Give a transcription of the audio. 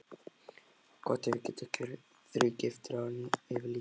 Gott ef ég verð ekki þrígiftur áður en yfir lýkur.